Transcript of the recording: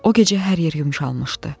O gecə hər yer yumşalmışdı.